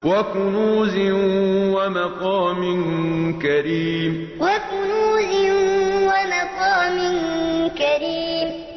وَكُنُوزٍ وَمَقَامٍ كَرِيمٍ وَكُنُوزٍ وَمَقَامٍ كَرِيمٍ